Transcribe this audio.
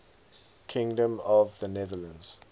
kingdom of the netherlands